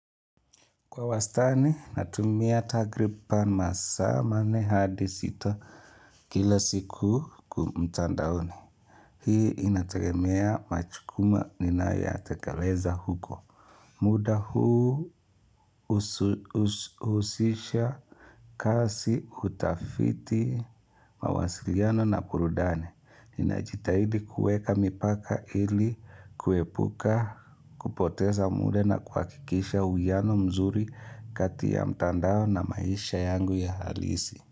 Kwa wastani, natumia takriban masaa ma nne hadi sita kila siku kwa mtandaoni. Hii inategemea machukuma ninayoyatekeleza huko. Muda huu husisha kasi utafiti mawasiliano na burudani. Ninajitahidi kueka mipaka ili kuepuka kupoteza muda na kuhakikisha uiano mzuri kati ya mtandao na maisha yangu ya halisi.